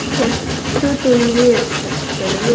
పెట్టు తుంది తెలుగులో--